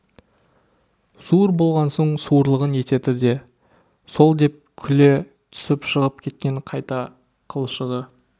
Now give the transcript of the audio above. суыр болған соң суырлығын етеді де сол деп күле түсіп шығып кеткен қайта қылшығы